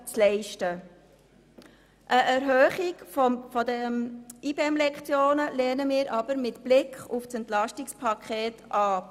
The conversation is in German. Eine Erhöhung dieser IBEM-Lektionen lehnen wir jedoch mit Blick auf das Entlastungspaket ab.